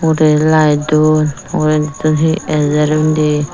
ude lite don ugureditun hi ajer undi.